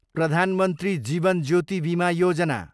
Pradhan Mantri Jeevan Jyoti Bima Yojana